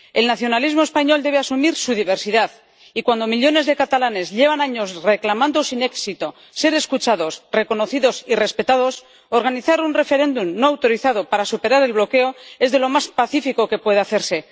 El nacionalismo español debe asumir su diversidad, y cuando millones de catalanes llevan años reclamando sin éxito ser escuchados, reconocidos y respetados, organizar un referéndum no autorizado para superar el bloqueo es de lo más pacífico que puede hacerse.